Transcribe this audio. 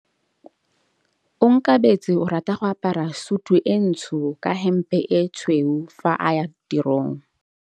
Onkabetse o rata go apara sutu e ntsho ka hempe e tshweu fa a ya tirong.